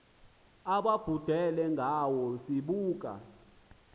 ababhudelwe ngawe sibuka